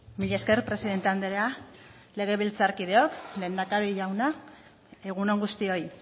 mila esker presidente andrea legebiltzarkideok lehendakari jauna egun on guztioi